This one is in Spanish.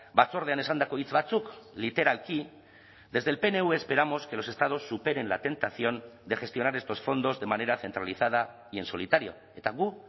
batzordean esandako hitz batzuk literalki desde el pnv esperamos que los estados superen la tentación de gestionar estos fondos de manera centralizada y en solitario eta gu